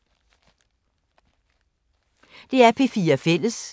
DR P4 Fælles